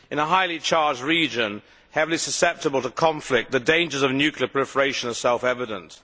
In a highly charged region, heavily susceptible to conflict, the dangers of nuclear proliferation are self evident.